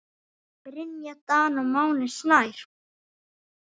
Brynja Dan og Máni Snær.